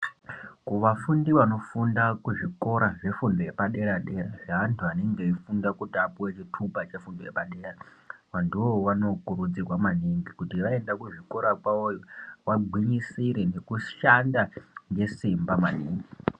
Kuvafundi vanofunda kuzvikora zvefundo yepaderadera zveantu anonge eifunda kuti apuwe chitupa chefundo yepadera vantuwo vanokurudzirwa maningi kuti vaenda kuzvikora kwawoyo vagwinyisire nekushanda nesimaba maningi.